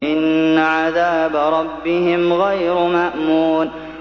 إِنَّ عَذَابَ رَبِّهِمْ غَيْرُ مَأْمُونٍ